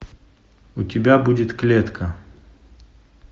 у тебя будет клетка